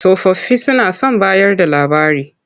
Tsofaffi suna son bayarda labari.